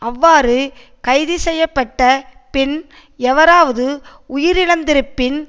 அவ்வாறு கைதுசெய்ய பட்ட பின் எவராவது உயிரிழந்திருப்பின்